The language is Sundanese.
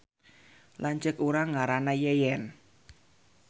Lanceuk urang ngaranna Yeyen